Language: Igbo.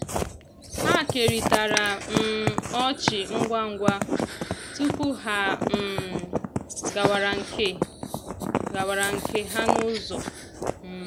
ha keritara um ọchị ngwa ngwa tupu ha um gawara nke gawara nke ha n'ụzọ. um